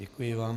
Děkuji vám.